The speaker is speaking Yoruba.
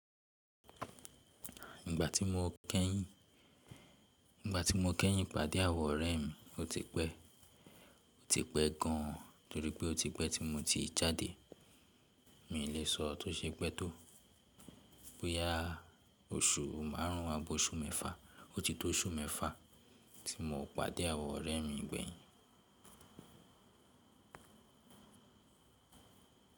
Nígbà tí mo kẹ́yìn, nígbà tí mo kẹ́yìn pàdé àwọn ọ̀rẹ́ mi, ó ti pẹ́, ó ti pẹ́ gan torí pé ó ti pẹ́ tí mo ti jáde. Mi ò lè sọ tó ṣe pẹ́ tó. Bóyá oṣù márùn ún á bi oṣù mẹ́fa, ó ti tó oṣù mẹ́fa tí mo pàdé àwọn ọ̀rẹ́ mi gbẹ̀yìn.